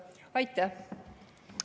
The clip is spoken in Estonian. Aitäh!